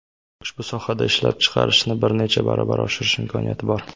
ushbu sohada ishlab chiqarishni bir necha barobar oshirish imkoniyati bor.